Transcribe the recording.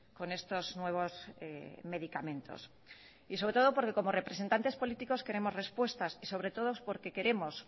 con estos nuevos medicamentos y sobre todo porque como representantes políticos queremos respuestas y sobre todo porque queremos